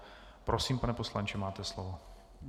Prosím, pane poslanče, máte slovo.